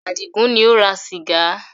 Àdìgún ni ó ra sìgá.